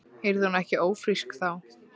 Yrði hún ekki ófrísk, þá það.